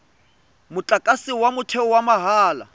motlakase wa motheo wa mahala